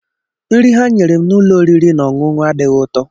Nri ha nyere m n'ụlọ oriri na ọṅụṅụ adịghị ụtọ.